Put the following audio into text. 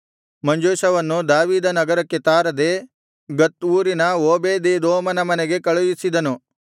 ಮಂಜೂಷವನ್ನು ದಾವೀದ ನಗರಕ್ಕೆ ತಾರದೇ ಗತ್ ಊರಿನ ಓಬೇದೆದೋಮನ ಮನೆಗೆ ಕಳುಹಿಸಿದನು